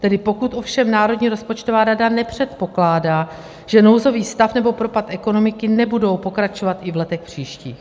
Tedy pokud ovšem Národní rozpočtová rada nepředpokládá, že nouzový stav nebo propad ekonomiky nebudou pokračovat i v letech příštích.